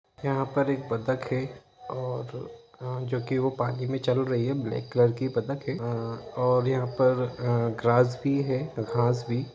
यहां पर एक बतक है और जो की वो पानी में चल रही है ब्लेक कलर की बतक है और आ यहां पर आ ग्रास भी है घास भी--